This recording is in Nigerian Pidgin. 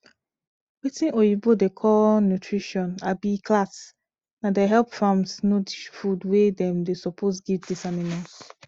watin oyibo da call nutrition um class na da help farms know the food wey dem dey suppose give this animals